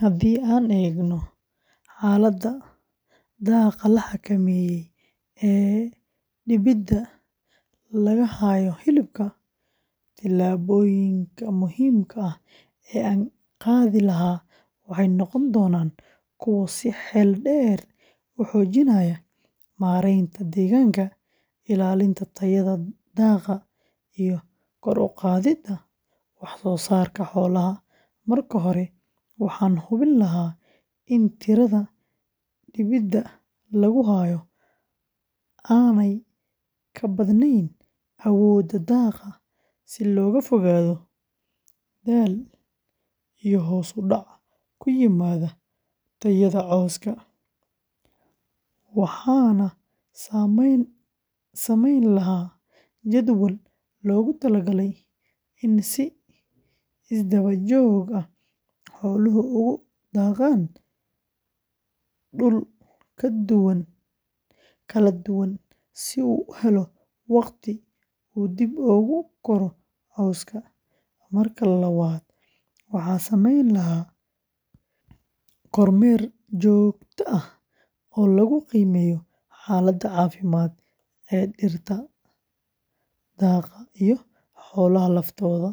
Haddii aan eegno xaaladda daaqa la xakameeyey ee dibida lagu hayo hilibka, tillaabooyinka muhiimka ah ee aan ka qaadi lahaa waxay noqon doonaan kuwo si xeel dheer u xoojinaya maaraynta deegaanka, ilaalinta tayada daaqa, iyo kor u qaadidda wax-soosaarka xoolaha; marka hore, waxaan hubin lahaa in tirada dibida lagu hayo aanay ka badnayn awoodda daaqa si looga fogaado daal iyo hoos u dhac ku yimaada tayada cawska, waxaana sameyn lahaa jadwal loogu talagalay in si isdaba-joog ah xooluhu ugu daaqaan dhul kala duwan si uu u helo waqti uu dib ugu koro cawska; marka labaad, waxaan samayn lahaa kormeer joogto ah oo lagu qiimeeyo xaaladda caafimaad ee dhirta daaqa iyo xoolaha laftooda,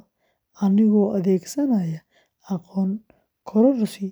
anigoo adeegsanaya aqoon kororsi.